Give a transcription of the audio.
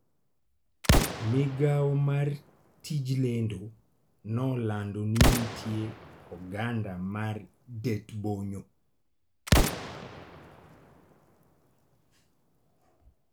Migawo mar tij lendo nolando ni nitie oganda mar det-bonyo.